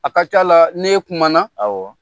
A ka c'a la n'e kumana awƆ,